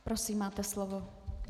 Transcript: Prosím, máte slovo.